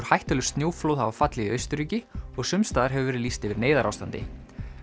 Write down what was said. hættuleg snjóflóð hafa fallið í Austurríki og sums staðar hefur verið lýst yfir neyðarástandi